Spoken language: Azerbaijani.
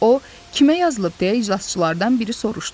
O, kimə yazılıb deyə iclasçılardan biri soruşdu.